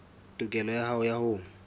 tokelo ya hao ya ho